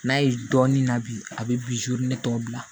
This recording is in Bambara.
N'a ye dɔɔnin na bi a bɛ ne tɔ bila